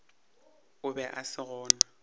o be a se gona